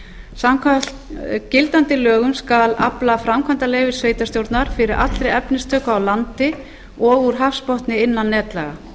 samkvæmt gildandi lögum skal afla framkvæmdaleyfis sveitarstjórnar fyrir allri efnistöku á landi og úr hafsbotni innan netlaga